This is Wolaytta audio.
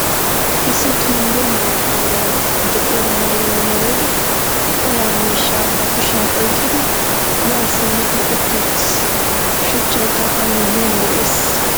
Issi tonddee maata meray de'iyo maayuwa maayidi olaa miishshaa ba kushiyan oyqqidi ya simmidi utti uttiis. Shuchchaykka a miyiyan de'ees.